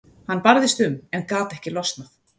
Hann barðist um en gat ekki losnað.